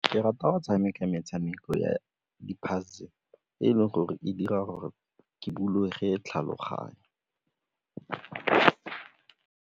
Ke rata go tshameka metshameko ya di-puzzle e leng gore e dira gore ke bulege tlhaloganyo.